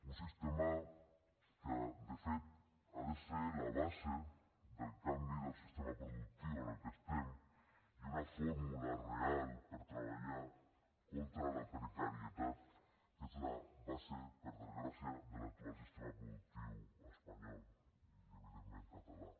un sistema que de fet ha de ser la base del canvi del sistema productiu en què estem i una fórmula real per treballar contra la precarietat que és la base per desgràcia de l’actual sistema productiu espanyol i evidentment català